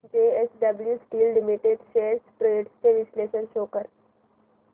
JSW steel limited shares trends चे विश्लेषण show कर